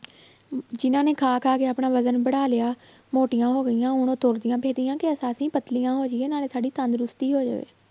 ਅਮ ਜਿਹਨਾਂ ਨੇ ਖਾ ਖਾ ਕੇ ਆਪਣਾ ਵਜ਼ਨ ਬੜਾ ਲਿਆ ਮੋਟੀਆਂ ਹੋ ਗਈਆਂ ਹੁਣ ਉਹ ਤੁਰਦੀਆਂ ਫਿਰਦੀਆਂ ਪਤਲੀਆਂ ਹੋ ਜਾਈਏ ਨਾਲੇ ਸਾਡੀ ਤੰਦਰੁਸਤੀ ਹੋ ਜਾਵੇ